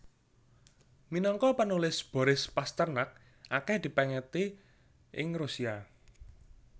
Minangka panulis Boris Pasternak akèh dipèngeti ing Rusia